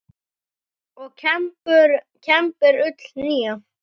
og kembir ull nýja.